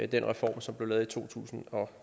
den reform som blev lavet i to tusind og